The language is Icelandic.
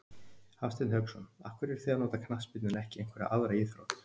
Hafsteinn Hauksson: Af hverju eruð þið að nota knattspyrnu en ekki einhverja aðra íþrótt?